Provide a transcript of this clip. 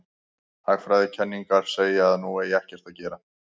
Hagfræðikenningarnar segja að nú eigi ekkert að gera.